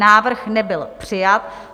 Návrh nebyl přijat.